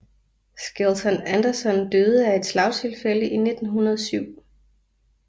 Skelton Anderson døde af et slagtilfælde i 1907